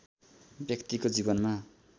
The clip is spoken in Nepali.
व्यक्तिको जीवनमा